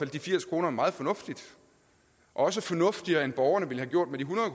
de firs kroner meget fornuftigt også fornuftigere end borgerne ville have gjort med de hundrede